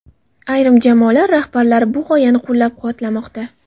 Ayrim jamoalar rahbarlari bu g‘oyani qo‘llab-quvvatlamoqda.